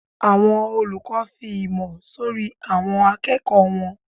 Àwọn olùkọ ǹ fí ìmọ̀ sorí awọn àkẹ́kò wọn.